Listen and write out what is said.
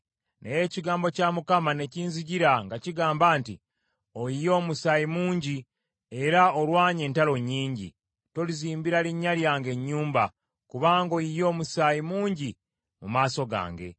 Naye ekigambo kya Mukama ne kinzijira nga kigamba nti, ‘Oyiye omusaayi mungi, era olwanye entalo nnyingi. Tolizimbira linnya lyange nnyumba, kubanga oyiye omusaayi mungi mu maaso gange.